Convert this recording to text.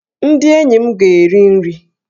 Ndị enyi m ga-eri nri!